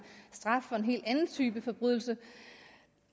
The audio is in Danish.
straf for en helt anden type forbrydelse